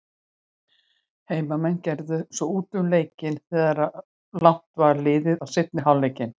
Heimamenn gerðu svo út um leikinn þegar langt var liðið á seinni hálfleikinn.